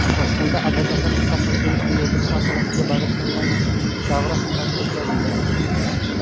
Toshkentda advokatlar mustaqilligini kengaytirish masalasiga bag‘ishlangan davra suhbati o‘tkazildi.